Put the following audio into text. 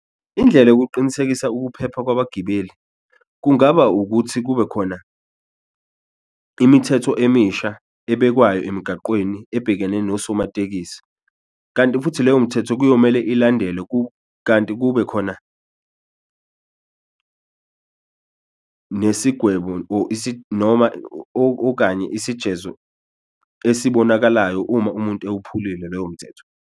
Indlela yokuqinisekisa ukuphepha kwabagibeli kungaba ukuthi kube khona imithetho emisha ebekwayo emigaqweni ebhekene nosomatekisi. Kanti futhi leyo mthetho kuyomele ilandelwe , kanti kube khona nesigwebo or noma okanye isijezo esibonakalayo uma umuntu ewuphulile loyo mthetho.